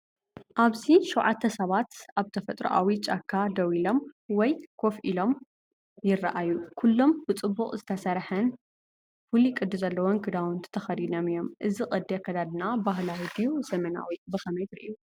ኣብዚ ሸውዓተ ሰባት ኣብ ተፈጥሮኣዊ ጫካ ደው ኢሎም ወይ ኮፍ ኢሎም ይረኣዩ። ኩሎም ብጽቡቕ ዝተሰርሐን ፍሉይ ቅዲ ዘለዎን ክዳውንቲ ተኸዲኖም እዮም። እዚ ቅዲ ኣከዳድና ባህላዊ ድዩ ዘመናዊ ብኸመይ ትርእዮ?